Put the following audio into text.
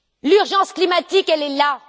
L'urgence climatique, elle est là.